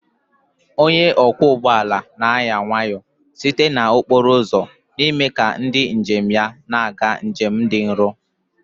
Onye ọkwọ ụgbọ ala na-anya nwayọọ site na okporo ụzọ n'ime ka ndị njem na-aga njem dị nro